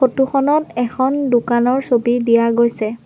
Photo খনত এখন দোকানৰ ছবি দিয়া গৈছে।